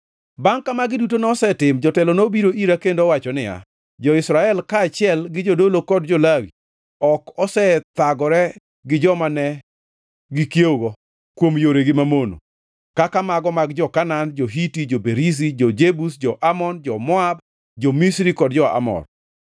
Bangʼ ka magi duto nosetim, jotelo nobiro ira kendo owacho niya, “Jo-Israel kaachiel gi jodolo kod jo-Lawi, ok osethegore gi joma ne gikiewogo kuom yoregi mamono, kaka mago mag jo-Kanaan, jo-Hiti, jo-Perizi, jo-Jebus, jo-Amon, jo-Moab, jo-Misri kod jo-Amor.